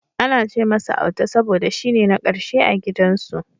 Ana ce masa Auta saboda shine na karshe a gidan su.